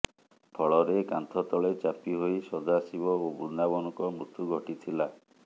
ଫଳରେ କାନ୍ଥ ତଳେ ଚାପି ହୋଇ ସଦାଶିବ ଓ ବୃନ୍ଦାବନଙ୍କ ମୃତ୍ୟୁ ଘଟିଥିଲା